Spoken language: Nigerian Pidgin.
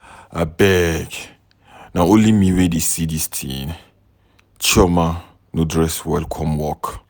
Abeg na only me wey dey see dis thing, Chioma no dress well come work.